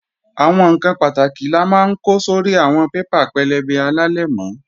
Àwọn ǹkan pàtàkì la máa ń ko sórí àwọn paper pẹlẹbẹ alálẹ̀mọ́